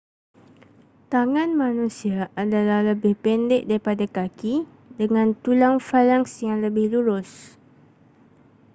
tangan manusia adalah lebih pendek daripada kaki dengan tulang falanks yang lebih lurus